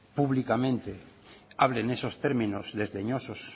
públicamente hable en esos términos desdeñosos